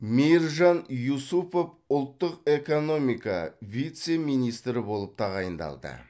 мейіржан юсупов ұлттық экономика вице министрі болып тағайындалды